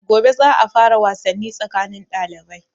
Gobe za a fara wasanni tsakanin ɗalibai.